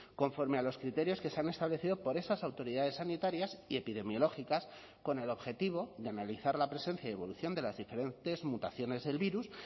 conforme a los criterios que se han establecido por esas autoridades sanitarias y epidemiológicas con el objetivo de analizar la presencia y evolución de las diferentes mutaciones del virus